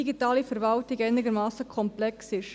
Digitale Verwaltung einigermassen komplex ist.